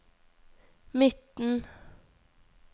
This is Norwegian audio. midten